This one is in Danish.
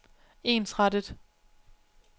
ensrettet